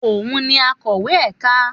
Òun ni akọ̀wé ẹ̀ka.